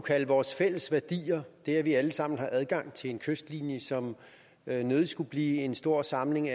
kalde vores fælles værdier det at vi alle sammen har adgang til en kystlinje som nødig skulle blive en stor samling